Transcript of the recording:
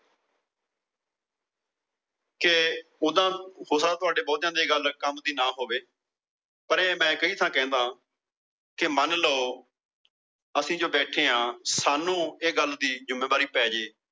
ਕੇ ਓਦਾਂ ਹੋ ਸਕਦਾ ਤੁਹਾਡੇ ਬਹੁਤਿਆਂ ਦੇ ਗੱਲ ਕੰਮ ਦੀ ਨਾ ਹੋਵੇ। ਪਰ ਇਹ ਮੈ ਕਈ ਥਾਂ ਕਹਿੰਦਾ। ਕੇ ਮਨ ਲਓ ਅਸੀਂ ਜੋ ਬੈਠੇ ਆ ਸਾਂਨੂੰ ਇਹ ਗੱਲ ਦੀ ਜੁਮੇਵਾਰੀ ਪੈ ਜਾਵੇ।